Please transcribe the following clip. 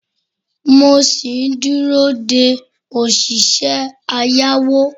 mo sì ń dúró de òṣìṣẹ́ ayáeó